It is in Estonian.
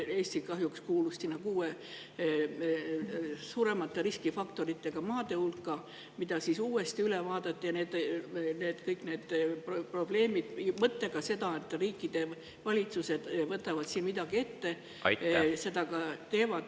Eesti kahjuks kuulus kuue suuremate riskifaktoritega maade hulka, mille uuesti üle vaadati selle mõttega, et riikide valitsused võtavad midagi ette ja tõesti midagi ka teevad.